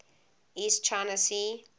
east china sea